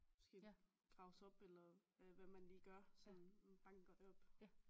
Måske graves op eller hvad man lige gør sådan banker det op